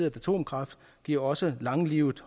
atomkraft giver også langlivet